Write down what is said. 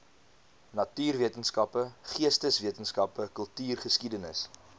natuurwetenskappe geesteswetenskappe kultuurgeskiedenis